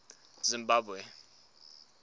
zimbabwe